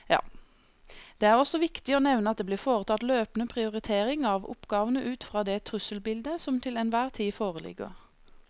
Det er også viktig å nevne at det blir foretatt løpende prioritering av oppgavene ut fra det trusselbildet som til enhver tid foreligger.